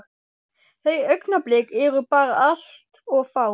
Þau augnablik eru bara allt of fá.